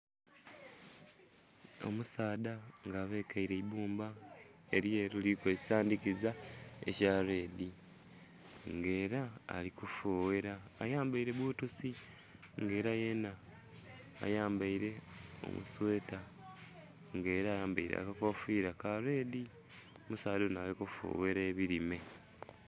Omusaadha nga abekere eibbumba elyeru liliku ekisandhikiza kya "red" nga era alikufughera ayambere bbotusi nga era yenha ayambere omusweta nga era ayambere akakofiira ka"red" omusaadha onho ali kufughera ebirime.